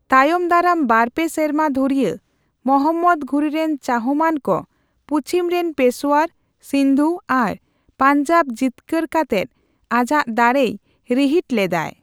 ᱛᱟᱭᱚᱢ ᱫᱟᱨᱟᱢ ᱵᱟᱨᱯᱮ ᱥᱮᱨᱢᱟ ᱫᱷᱨᱤᱭᱟᱹ ᱢᱚᱦᱚᱢᱢᱚᱫ ᱜᱷᱩᱨᱤ ᱨᱮᱱ ᱪᱟᱦᱢᱟᱱ ᱠᱚ ᱯᱩᱪᱷᱤᱢ ᱨᱮᱱ ᱯᱮᱥᱳᱣᱟᱨ, ᱥᱤᱱᱫᱷᱩ ᱟᱨ ᱯᱟᱧᱡᱟᱵᱽ ᱡᱤᱛᱠᱟᱹᱨ ᱠᱟᱛᱮᱫ ᱟᱡᱟᱜ ᱫᱟᱲᱮᱭ ᱨᱤᱦᱤᱴ ᱞᱮᱫᱟᱭ ᱾